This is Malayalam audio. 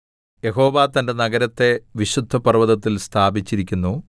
യഹോവ തന്റെ നഗരത്തെ വിശുദ്ധപർവ്വതത്തിൽ സ്ഥാപിച്ചിരിക്കുന്നു